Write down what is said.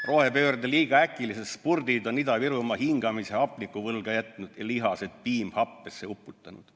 Rohepöörde liiga äkilised spurdid on Ida-Virumaa hingamise hapnikuvõlga jätnud ja lihased piimhappesse uputanud.